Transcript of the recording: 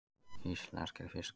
Íslenskir fiskar.